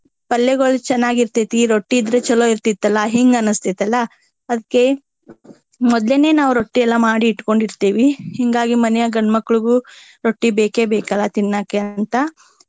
ಪಲ್ಲೆಗೋಳು ಚೆನ್ನಾಗಿ ಇರ್ತೆತಿ ರೊಟ್ಟಿ ಇದ್ರ ಚೊಲೋ ಇರ್ತಿತ್ತಲಾ ಹಿಂಗ ಅನಸ್ತೆತಿಲಾ ಅದ್ಕೆ ಮೊದ್ಲೇನೆ ನಾವ ರೊಟ್ಟಿ ಎಲ್ಲಾ ಮಾಡಿ ಇಟ್ಕೊಂಡಿರ್ತೆವಿ. ಹಿಂಗಾಗಿ ಮನ್ಯಾಗ ಗಂಡ ಮಕ್ಳಿಗು ರೊಟ್ಟಿ ಬೇಕೆ ಬೇಕ ಅಲ್ಲಾ ತಿನ್ನಾಕೆ ಅಂತ.